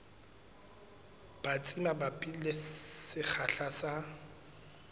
batsi mabapi le sekgahla sa